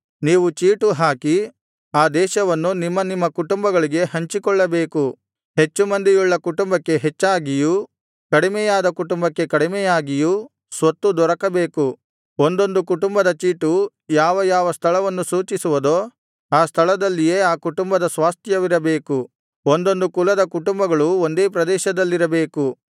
ನೀವು ಚೀಟುಹಾಕಿ ಆ ದೇಶವನ್ನು ನಿಮ್ಮನಿಮ್ಮ ಕುಟುಂಬಗಳಿಗೆ ಹಂಚಿಕೊಳ್ಳಬೇಕು ಹೆಚ್ಚು ಮಂದಿಯುಳ್ಳ ಕುಟುಂಬಕ್ಕೆ ಹೆಚ್ಚಾಗಿಯೂ ಕಡಿಮೆಯಾದ ಕುಟುಂಬಕ್ಕೆ ಕಡಿಮೆಯಾಗಿಯೂ ಸ್ವತ್ತು ದೊರಕಬೇಕು ಒಂದೊಂದು ಕುಟುಂಬದ ಚೀಟು ಯಾವ ಯಾವ ಸ್ಥಳವನ್ನು ಸೂಚಿಸುವುದೋ ಆ ಸ್ಥಳದಲ್ಲಿಯೇ ಆ ಕುಟುಂಬದ ಸ್ವಾಸ್ತ್ಯವಿರಬೇಕು ಒಂದೊಂದು ಕುಲದ ಕುಟುಂಬಗಳು ಒಂದೇ ಪ್ರದೇಶದಲ್ಲಿರಬೇಕು